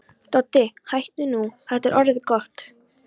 Doddi, hættu nú, þetta er orðið gott!